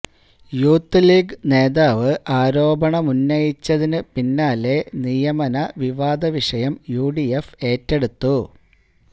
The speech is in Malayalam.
യൂത്ത് ലീഗ് നേതാവ് ആരോപണമുന്നയിച്ചതിന് പിന്നാലെ നിയമനവിവാദ വിഷയം യുഡിഎഫ് ഏറ്റെടുത്തു